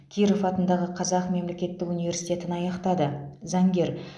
киров атындағы қазақ мемлекеттік университетін аяқтады заңгер